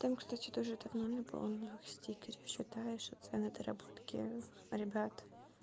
там кстати тоже давно наполняла стикеры считаешь цены доработки ребят